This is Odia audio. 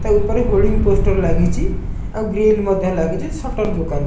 ତା ଉପରେ ହୋଲଡିଂ ପୋଷ୍ଟର ଲାଗିଚି। ଆଉ ଗ୍ରିଲ ମଧ୍ୟ ଲାଗିଚି। ସଟର ଦୁକାନ --